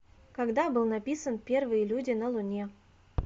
когда был написан первые люди на луне